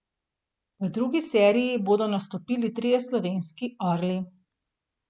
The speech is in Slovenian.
V drugi seriji bodo nastopili trije slovenski orli.